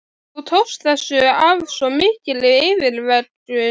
Þú tókst þessu af svo mikilli yfirvegun.